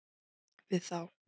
við þá.